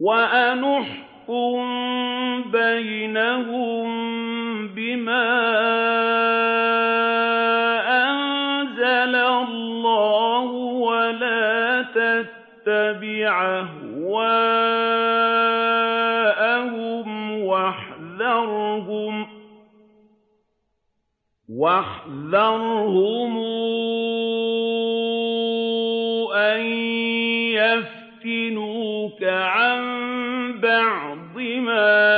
وَأَنِ احْكُم بَيْنَهُم بِمَا أَنزَلَ اللَّهُ وَلَا تَتَّبِعْ أَهْوَاءَهُمْ وَاحْذَرْهُمْ أَن يَفْتِنُوكَ عَن بَعْضِ مَا